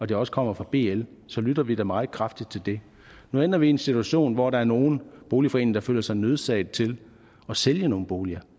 det også kommer fra bl så lytter vi da meget kraftigt til det nu ender vi i en situation hvor der er nogle boligforeninger der føler sig nødsaget til at sælge nogle boliger